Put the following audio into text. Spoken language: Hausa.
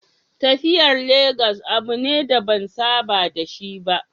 Tafiyar Legas abu ne da ban saba da shi ba.